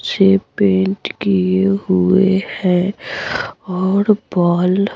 ये पेंट किए हुए हैं और बल--